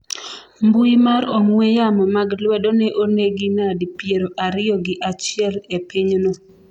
mbui mar ong'we yamo mag lwedo ne onegi nadi piero ariyo gi achiel e pinyno